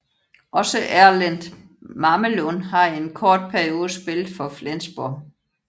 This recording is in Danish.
Også Erlend Mamelund har i en kort periode spillet for Flensborg